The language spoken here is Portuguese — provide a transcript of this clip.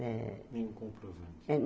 eh nenhum.